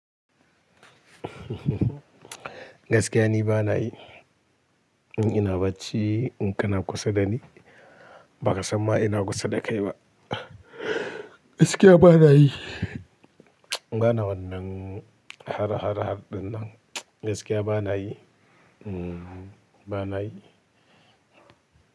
Gaskiya ni ba na yi. Ina bacci, in kana kusa da ni, ba ka san ma ina kusa da kai ba. Gaskiya ba na yi. Ba na wannan har-har ɗinnan. Gaskiya ba na yi. Ba na yi.